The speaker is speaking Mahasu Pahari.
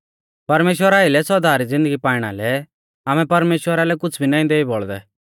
परमेश्‍वरा आइलै सौदा री ज़िन्दगी पाइणा लै आमै परमेश्‍वरा लै कुछ़ भी नाईं देई बौल़दै